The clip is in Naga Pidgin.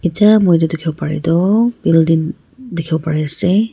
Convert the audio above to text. etiya moi dekhibole bara toh building dekhibo bari ase.